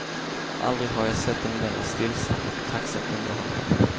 Aldrig har jag sett en mera stillsam och tacksam underhållare.